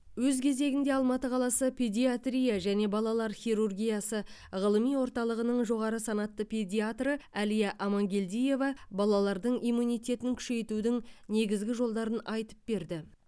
өз кезегінде алматы қаласы педиатрия және балалар хирургиясы ғылыми орталығының жоғары санатты педиатры әлия амангелдиева балалардың иммунитетін күшейтудің негізгі жолдарын айтып берді